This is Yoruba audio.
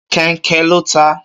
Kẹnkẹ lo taa